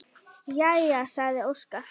Jæja, sagði Óskar.